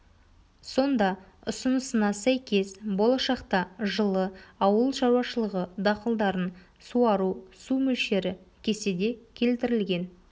сонда ұсынысына сәйкес болашақта жылы ауыл шаруашылығы дақылдарын суару су мөлшері кестеде келтірілген